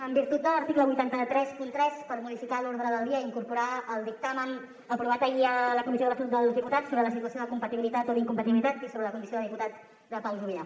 en virtut de l’article vuit cents i trenta tres per modificar l’ordre del dia i incorporar el dictamen aprovat ahir a la comissió de l’estatut dels diputats sobre la situació de compatibilitat o d’incompatibilitat i sobre la condició de diputat de pau juvillà